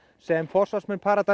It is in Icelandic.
sem forsvarsmenn